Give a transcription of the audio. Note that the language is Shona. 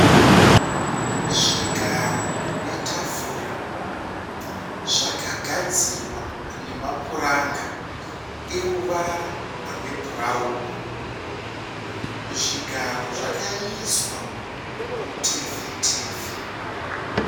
Zvigaro netafura zvakagadzirwa nemapuranga eruvara rwebhurawuni zvigaro zvakaiswa mutefetefe.